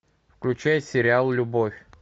включай сериал любовь